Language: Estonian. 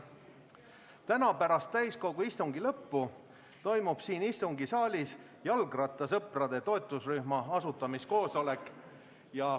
Täna pärast täiskogu istungi lõppu toimub siin istungisaalis jalgrattasõprade toetusrühma asutamise koosolek.